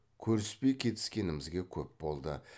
көріспей кетіскенімізге көп болды